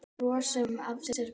Bros sem af sér gaf.